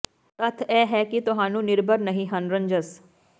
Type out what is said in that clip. ਤੱਥ ਇਹ ਹੈ ਕਿ ਤੁਹਾਨੂੰ ਨਿਰਭਰ ਨਹੀ ਹਨ ਰੰਜਸ